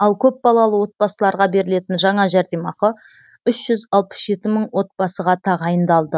ал көпбалалы отбасыларға берілетін жаңа жәрдемақы үш жүз алпыс жеті мың отбасыға тағайындалды